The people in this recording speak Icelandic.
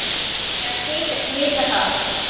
Þær þykjast vita það.